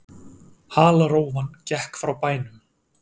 Halarófan gekk frá bænum.